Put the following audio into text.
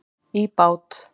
í bát.